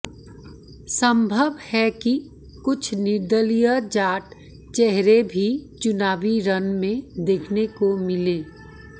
संभव है कि कुछ निर्दलीय जाट चेहरे भी चुनावी रण में देखने को मिलें